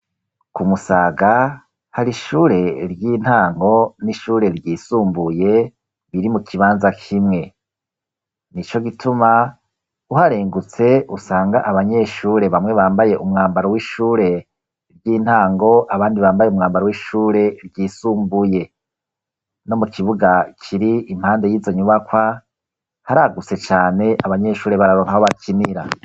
Ku Musaga, hari ishure ry'intango n'ishure ryisumbuye biri mu kibanza kimwe; nico gituma, uharengutse usanga abanyeshure bamwe bambaye umwambaro w'ishure ry'intango, abandi bambaye umwambaro w'ishure ryisumbuye, no mu kibuga kiri impande y'izo nyubakwa, haragutse cane abanyeshure bararonka aho bakinira.